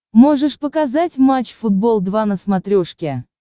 можешь показать матч футбол два на смотрешке